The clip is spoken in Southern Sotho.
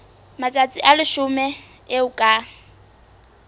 matsatsi a leshome eo ka